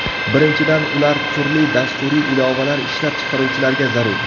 Birinchidan, ular turli dasturiy ilovalar ishlab chiqaruvchilarga zarur.